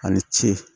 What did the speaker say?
A ni ce